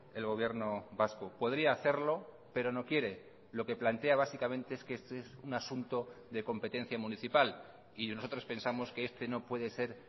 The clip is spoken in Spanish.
el gobierno vasco podría hacerlo pero no quiere lo que plantea básicamente es que este es un asunto de competencia municipal y nosotros pensamos que este no puede ser